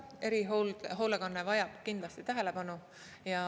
Erihoolekanne vajab kindlasti tähelepanu.